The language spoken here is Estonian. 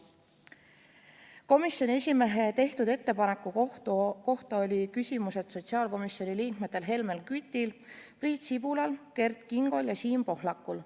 Komisjoni esimehe tehtud ettepaneku kohta oli küsimus sotsiaalkomisjoni liikmetel Helmen Kütil, Priit Sibulal, Kert Kingol ja Siim Pohlakul.